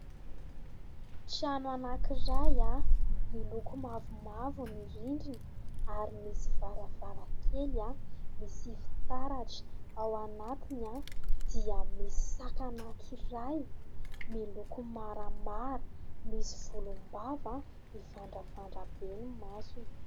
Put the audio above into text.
Trano anankiray miloko mavomavo ny rindrina ary misy varavarankely misy fitaratra ; ao anatiny dia misy saka anankiray miloko maramara, misy volom-bava, mivandravandra be ny masony.